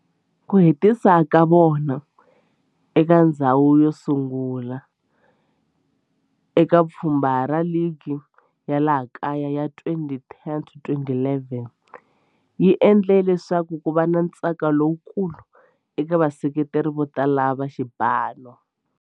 Ku hetisa ka vona eka ndzhawu yosungula eka pfhumba ra ligi ya laha kaya ya 2010-11 swi endle leswaku kuva na ntsako lowukulu eka vaseketeri votala va xipano.